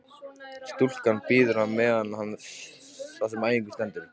Stúlkan bíður á meðan á þessum æfingum stendur.